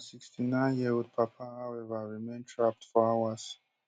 her sixty-nineyearold papa however remain trapped for hours